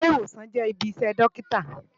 Ilé-Iwósán jè ibi iṣè Dòkitá